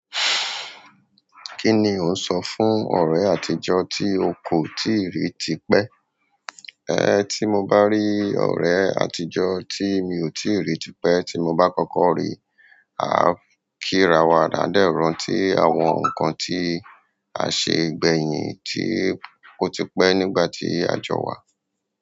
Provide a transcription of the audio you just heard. Kí ni ò ń ṣo fún ọ̀rẹ́ àtijọ́ tí o kò tíì rí tipẹ́? Ẹ, tí mo bá rí ọ̀rẹ́ àtijọ́ tí mi ò tíì rí tipẹ́ tí mo bá kọ́kọ́ rí, a kírawọ àdáadẹ́rùn tí àwọn nǹkan tí a ṣe gbẹ̀yìn tí ó ti pẹ́ nígbà tí àjọ wa.